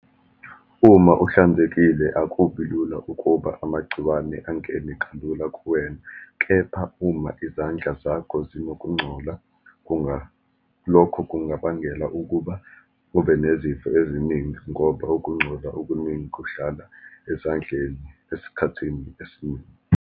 Uma uhlanzekile akubi lula ukuba amagciwane angene kalula kuwena, kepha uma izandla zakho zinokungcola lokho kungabangela ukuba kube nezifo eziningi, ngoba ukungcola okuningi kuhlala ezandleni esikhathini esiningi.